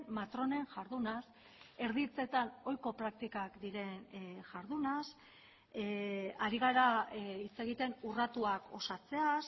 matronen jardunaz erditzetan ohiko praktikak diren jardunaz ari gara hitz egiten urratuak osatzeaz